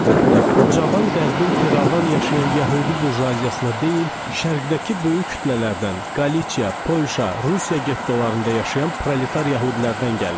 Əlbəttə bu cavan qərbin firavan yaşayan yəhudi burjuaziyasına deyil, şərqdəki böyük kütlələrdən, Qalitsiya, Polşa, Rusiya gettolarında yaşayan proleter yəhudilərdən gəlmişdi.